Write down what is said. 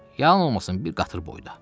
Yanılmasam bir qatır boyda.